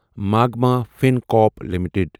مغمہ فنکارپ لِمِٹٕڈ